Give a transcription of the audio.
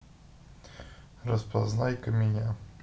распознай-ка меня